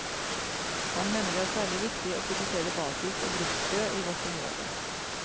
Han mener det er særlig viktig å produsere basis og bruksfrø i vårt område.